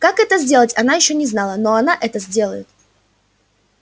как это сделать она ещё не знала но она это сделает